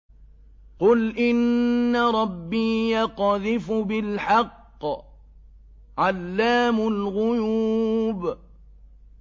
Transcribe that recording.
قُلْ إِنَّ رَبِّي يَقْذِفُ بِالْحَقِّ عَلَّامُ الْغُيُوبِ